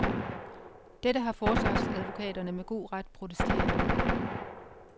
Dette har forsvarsadvokaterne med god ret protesteret imod.